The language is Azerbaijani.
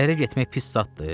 Ərə getmək pis zatdı?